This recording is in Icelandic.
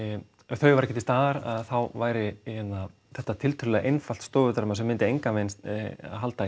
þau væru ekki til staðar þá væri þetta tiltölulega einfalt stofudrama sem myndi engan veginn halda í